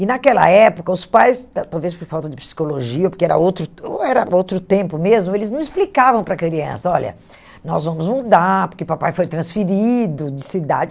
E naquela época, os pais, tal talvez por falta de psicologia, porque era outro era outro tempo mesmo, eles não explicavam para a criança, olha, nós vamos mudar, porque papai foi transferido de cidade.